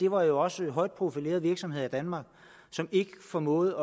var jo også højt profilerede virksomheder i danmark som ikke formåede